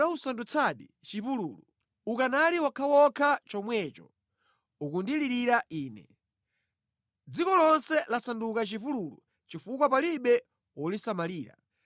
Unawusandutsadi chipululu. Ukanali wokhawokha chomwecho ukundilirira Ine. Dziko lonse lasanduka chipululu chifukwa palibe wolisamalira.